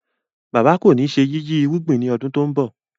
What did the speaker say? Bàbá kọ ní ṣe yiyi irúgbìn ni ọdún to ń bó.